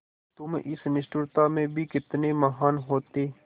तुम इस निष्ठुरता में भी कितने महान् होते